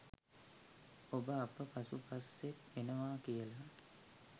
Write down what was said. ඔබ අප පසු පස්සෙන් එනවා කියල.